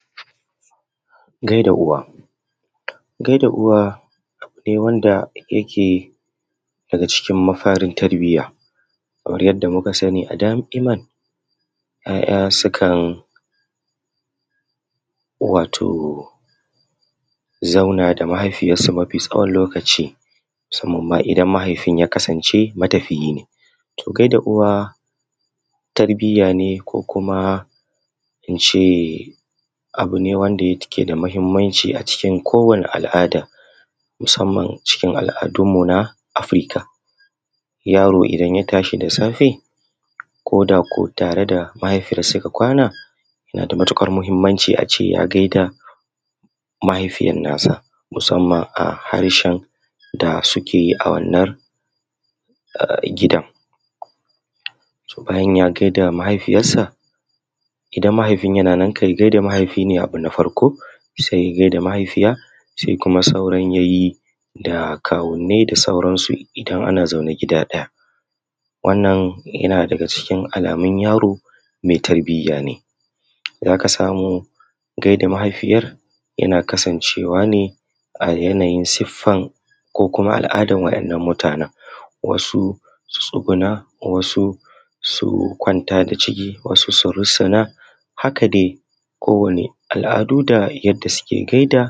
Kamar yadda muke gani wannan ita ce fure ko kuma mu ce filawa Kaman yadda muka saba. Ita dai filawa tana da kalolili kamar biyu, akwai ko da ruwan sama ko da rana yana nufin komin halin da ake ciki za a ci gaba da aiki, taimaka ma jiki amfani da kitse a matsayin matakaci hakan nan yana da mahinamci a samu isashen bacci, rashin bacci na iya hana rage ƙiba don haka a tabbatar ana samun a ƙalla awani bakwai zuwa takwas na bacci. Mata su ne jigon rayuwa, mata su ne walwalar rayuwa tana tattatalin farin cikin mutanen da suke so a rayuwarta, kula da iyali da inganta tattalin arziki. Mata masu noma da jarire suna fuskantar ƙalubale na gajiya da rashin kayan zamani, Misali manomanmu suna aiki a kowane yanayi ko ana rana ko ruwa ko ana wani yanayi zan ci gaba da aiki a gonata. Kamar yadda muke gani wannan an fi sa shi ne a gate na